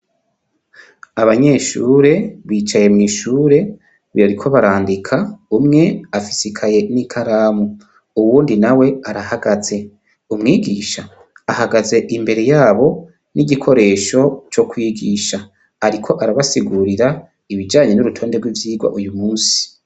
Abanyeshuri bicaye mw'ishuri bariko barandika umwe afise ikaye n'ikaramu uwundi nawe arahagaze, Umwigisha ahagaze imbere yabo n'igikoresho co kwigisha ariko arabasigurira ibijanye n'urutonde rw’ivyirwa uyu munsi.